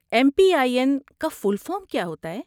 M P I N کا full form کیا ہوتا ہے؟